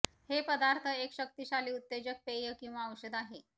हे पदार्थ एक शक्तिशाली उत्तेजक पेय किंवा औषध आहे